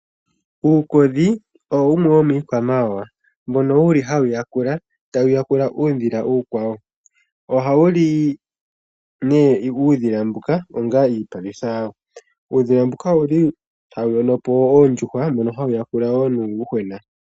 Uukodhi owo wumwe womiikwamawa mbono hawu yakula, tawu yakula uudhila uukwawo. Ohawu li nduno uudhila mbuka onga iipalutha yawo. Uudhila mbuka ohawu yono po oondjuhwa mono hawu yakula wo nuuyuhwena.